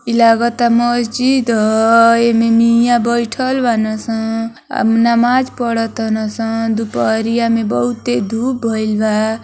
ई लगता महजिद ह। एमें मिया बइठल बाड़सन। आ नमाज़ पढ़ातालसन। दुपहिरा में बहुत तेज़ धुप भइल बा।